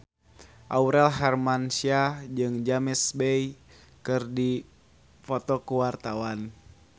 Aurel Hermansyah jeung James Bay keur dipoto ku wartawan